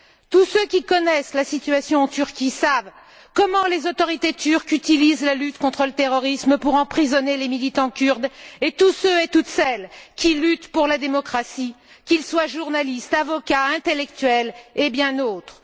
Tous ceux qui connaissent la situation en Turquie savent comment les autorités turques utilisent la lutte contre le terrorisme pour emprisonner les militants kurdes et tous ceux et toutes celles qui luttent pour la démocratie, qu'ils soient journalistes, avocats, intellectuels et bien d'autres.